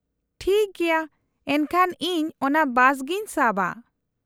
-ᱴᱷᱤᱠ ᱜᱮᱭᱟ, ᱮᱱᱠᱷᱟᱱ ᱤᱧ ᱚᱱᱟ ᱵᱟᱥ ᱜᱮᱧ ᱥᱟᱵᱼᱟ ᱾